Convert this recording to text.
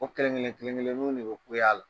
O kelen-kelen kelen-kelennuw de be kule a la.